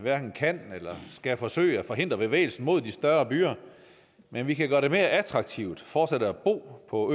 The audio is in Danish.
kan eller skal forsøge at forhindre bevægelsen mod de større byer men vi kan gøre det mere attraktivt fortsat at bo på